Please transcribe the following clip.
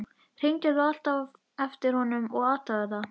Hringdir þú alltaf á eftir honum og athugaðir það?